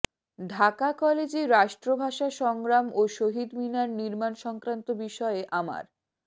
ঢাকা কলেজে রাষ্ট্রভাষা সংগ্রাম ও শহীদ মিনার নির্মাণ সংক্রান্ত বিষয়ে আমার